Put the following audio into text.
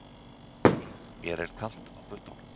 Mér er kalt á puttunum